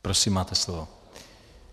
Prosím, máte slovo.